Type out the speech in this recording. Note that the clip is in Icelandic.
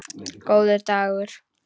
Góður dagur